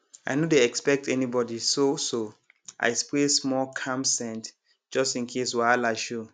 i no dey expect anybody so so i spray small calm scent just in case wahala show